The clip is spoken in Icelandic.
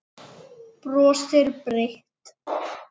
Brosir breitt.